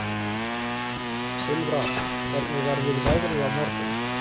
Silfra, hvernig verður veðrið á morgun?